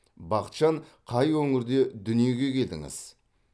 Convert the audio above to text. бақытжан қай өңірде дүниеге келдіңіз